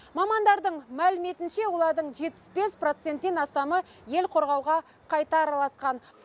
мамандардың мәліметінше олардың жетпіс бес проценттен астамы ел қорғауға қайта араласқан